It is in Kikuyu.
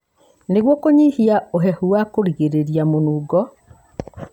nĩguo kũnyihia ũhehu wa kũgirĩrĩria mũnungo.